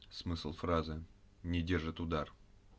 смысл фразы не держит удар